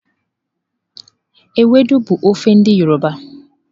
Ewedu bụ ofe ndi yọrọba.